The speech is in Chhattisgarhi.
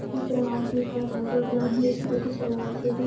इकरे हाथ में का धागा बना हे स्कूटी चलात हे एहर --